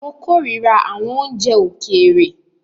Mó kòrira àwọn oúnjẹ òkèèrè.